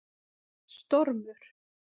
Stormur